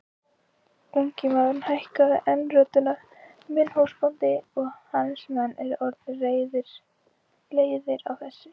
Ungi maðurinn hækkaði enn röddina:-Minn húsbóndi og hans menn eru orðnir leiðir á þessu!